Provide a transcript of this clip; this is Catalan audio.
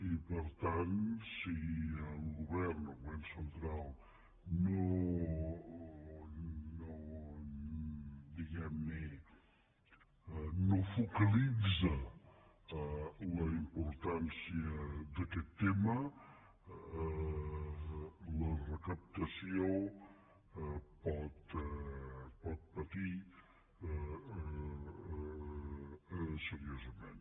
i per tant si el govern el govern central diguem ne no focalitza la importància d’aquest tema la recaptació pot patir seriosament